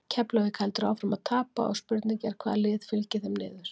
Keflavík heldur áfram að tapa og spurning er hvaða lið fylgir þeim niður?